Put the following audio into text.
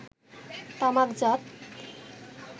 তামাকজাত